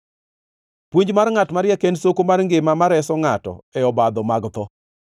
Puonj mar ngʼat mariek en soko mar ngima ma reso ngʼato e obadho mag tho.